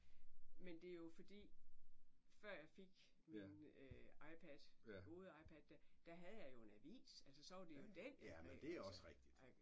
Men det jo fordi før jeg fik min iPad gode iPad der der havde jeg jo en avis altså så var det jo den jeg greb altså ik